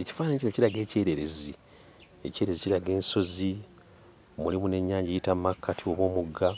Ekifaananyi kino kiraga ekyererezi. Ekyererezi kiraga ensozi, mulimu n'ennyanja eyita mu makkati oba omugga.